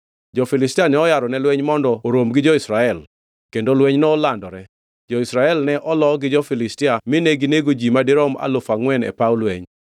Jo-Filistia noyaro ne lweny mondo orom gi jo-Israel, kendo lweny nolandore. Jo-Israel ne olo gi jo-Filistia mine ginego ji madirom alufu angʼwen e paw lweny.